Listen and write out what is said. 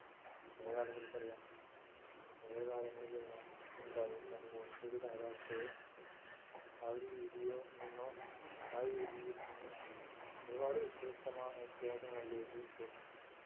പഴയ ആളുകൾക്ക് അറിയാം പഴയ കാലങ്ങളിലെല്ലാം ഉണ്ടായിരുന്നത് പോലെത്തൊരു കാലാവസ്ഥയോ ആ ഒരു രീതിയോ നിന്നോ ആ ഒരു രീതിയിൽ നിന്ന് ഒരുപാട് വ്യത്യസ്തമാ വ്യത്യാസങ്ങളിലേക്ക് ഇപ്പോൾ